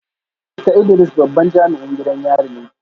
Mista Idris babban jami’in gidan yari ne